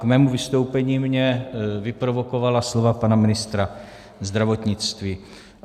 K mému vystoupení mě vyprovokovala slova pana ministra zdravotnictví.